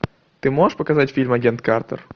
ты можешь показать фильм агент картер